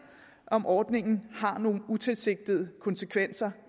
om ordningen har nogle utilsigtede konsekvenser